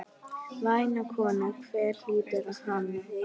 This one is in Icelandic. Væna konu, hver hlýtur hana?